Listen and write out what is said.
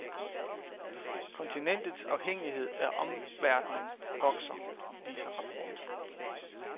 Kontinentets afhængighed af omverdenen vokser, viser rapport.